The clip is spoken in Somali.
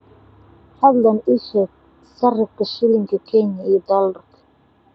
fadlan ii sheeg sarifka shilinka kenya iyo dollarka